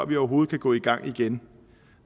vi overhovedet kan gå i gang igen